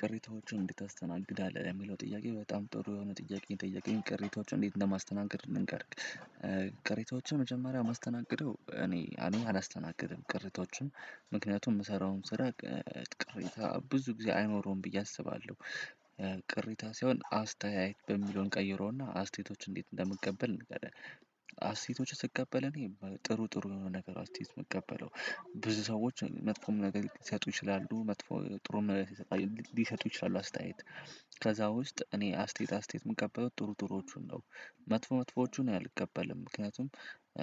ቅሬታዎችን እንዴት ታስተናግዳለህ የሚለው ጥያቄ? በጣም ጥሩ የሆነ ጥያቄ ጠየቀኝ ቅሬታዎችን እንዴት እንደማስተናገድ ልንገርክ። ቅሬታዎችን መጀመሪያ ማስተናገደው እኔ አንደኛ አላስተናግድም ቅሬታዎቹም ምክንያቱም ምሰራውን ስራ። ቅሬታ ብዙ ጊዜ አይኖረውም ብዬ አስባለሁ። ቅሬታ ሳይሆን አስተያየት በሚለውን እንቀይረው እና አስቴቶች እንዴት እንደምቀበል እንገባለን። አስቴቶችን ስቀበል እኔ ጥሩ ጥሩ የሆነ ነገር አስተያየት ምቀበለው። ብዙ ሰዎች መጥፎም ነገር ሊሰጡ ይችላሉ መጥፎ ጥሩም ነገር ሊሰጡ ይችላሉ አስተያየት። ከዛ ውስጥ እኔ አስተያየት አስተያየት የምቀበለው ጥሩ ጥሩዎቹን ነው። መጥፎ መጥፎዎቹን አልቀበልም ምክንያቱም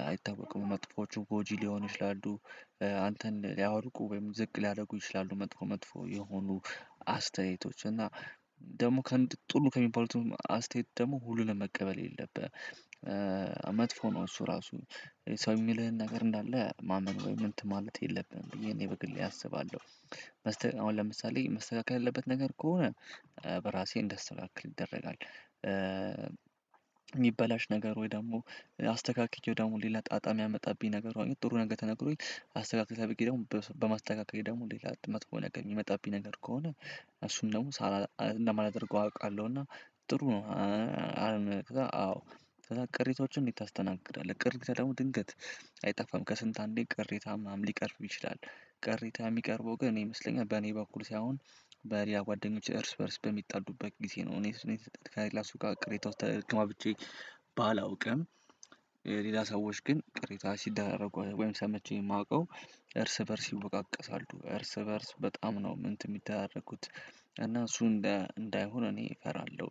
አይታወቅም መጥፎዎቹ ጎጂ ሊሆኑ ይችላሉ። አንተን ሊያወድቁ ወይም ዝቅ ሊያደርጉ ይችላሉ መጥፎ መጥፎ የሆኑ አስተያየቶች እና ደግሞ ጥሩ ከሚባሉትም አስተያየት ደግሞ ሁሉንም መቀበል የለብህም። መጥፎ ነው እሱ ራሱ ሰው የሚልህን ነገር እንዳለ ማመን ወይ ምን ማለት የለብህም ብዬ እኔ በግሌ አስባለሁ። መስተካከል አሁን ለምሳሌ መስተካከል ያለበት ነገር ከሆነ በራሴ እንደስተካከል ይደረጋል። ሚበላሽ ነገር ወይ ደግሞ አስተካክየው ደግሞ ሌላ ጣጣ ሚያመጣብኝ ነገር አሁን ጥሩ ነገር ተነግሮኝ አስተካክተል ተብየ ደግሞ በማስተካከል ደግሞ ሌላ መጥፎ ነገር ሚመጣብኝ ነገር ከሆነ እሱን ደግሞ እንደማላደርገው አውቃለሁ። እና ጥሩ ነው አዎ ከዛ ቅሬታዎችን እንዴት ታስተናግዳለህ? ቅሬታ ደግሞ ድንገት አይጠፋም ከስንት አንዴ ቅሬታ ምናምን ሊቀርብ ይችላል። ቅሬታ ሚቀርበው ግን እኔ ይመስለኛል በኔ በኩል ሳይሆን በሌላ ጓደኞች እርስ በእርስ በሚጣሉበት ጊዜ ነው። እኔ እሱን የሰጠሁት ከሌላ ጋ ቅሬታ ውስጥ ተገባብቼ ባላውቅም። ሌላ ሰዎች ግን ቅሬታ ሲደራረጉ ወይም ሰምቼ ማውቀው እርስ በእርስ ይወቃቀሳሉ እርስ በእርስ በጣም ነው እንትን ሚደራረጉት። እና እሱ እንደ እንዳይሆን እኔ እፈራለሁ።